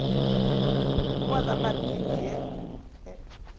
leboa ya maknete ye e